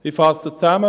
Ich fasse zusammen: